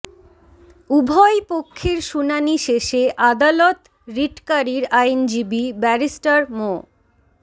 উভয় পক্ষের শুনানি শেষে আদালত রিটকারীর আইনজীবী ব্যারিস্টার মো